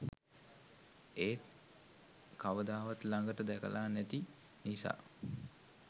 ඒත් කවදාවත් ලඟට දැකලා නැති නිසා